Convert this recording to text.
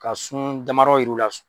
Ka sun damadɔ yira u la